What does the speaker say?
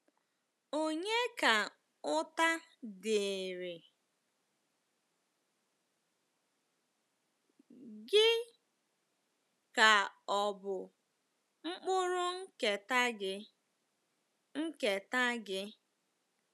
Ònye Ka Ụta Dịịrị — Gị Ka Ọ̀ Bụ Mkpụrụ Nketa Gị? Nketa Gị?